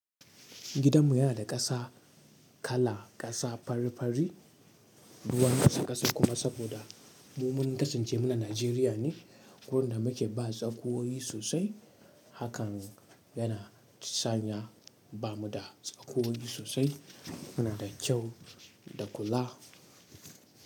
Gidanmu yana da ƙasa kala ƙasa fari fari. Duk wanda yace ƙasa kuma saboda mu mun kasance muna Nijeriya ne wurin da muke ba tsakuwoyi sosai. Hakan yana sanya ba mu da tsakuwoyi sosai. Muna da kyau da kula.